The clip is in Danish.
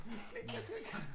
Klik klik klik